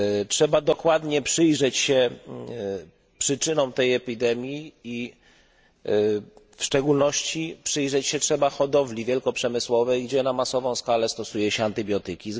Trzeba dokładnie przyjrzeć się przyczynom tej epidemii i w szczególności przyjrzeć się trzeba hodowli wielkoprzemysłowej, gdzie na masową skalę stosuje się antybiotyki.